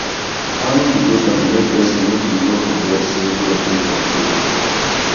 morning devotion dey make pesin make e no forget say god dey control